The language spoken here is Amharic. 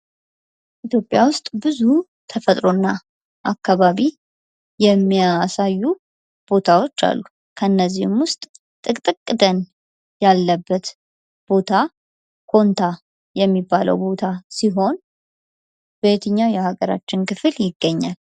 ኢትዮጵያ ውስጥ ብዙ ተፈጥሮና አካባቢ የሚያሳዩ ቦታዎች አሉ። ከነዚህም ውስጥ ጥቅጥቅ ደን ያለበት ቦታ ቦንታ የሚባለው ቦታ ሲሆን በየትኛው የሀገራችን ክፍል ይገኛል?